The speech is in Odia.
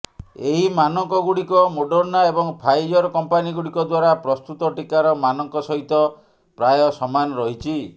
ଏହି ମାନକଗୁଡିକ ମୋଡର୍ଣ୍ଣା ଏବଂ ଫାଇଜର କମ୍ପାନୀଗୁଡିକ ଦ୍ୱାରା ପ୍ରସ୍ତୁତ ଟୀକାର ମାନଙ୍କ ସହିତ ପ୍ରାୟ ସମାନ ରହିଛି